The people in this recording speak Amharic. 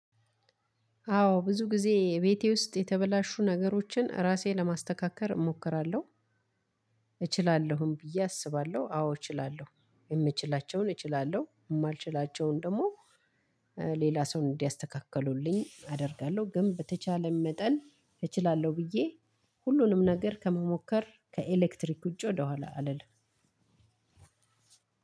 አዎ ብዙ ጊዜ ቤቴ ውስጥ የተበላሹ ነገሮችን ራሴን ለማስተካከል እሞክራለሁ። እችላለሁም ብዬ አስባለሁ አዎ እችላለሁ የምችላቸውን እችላለሁ የማልችላቸውን ደግሞ ሌላ ሰው እንዲያስተካክሉልኝ አደርጋለሁ። ግን በተቻለን መጠን እችላለሁ ብዬ ሁሉንም ነገር ከመሞከር ከኤሌክትሪክ ውጪ ወደኋላ አልልም።